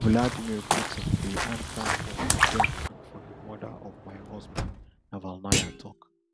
vladimir putin dey ansa for di death and for di murder of my husband navalnaya tok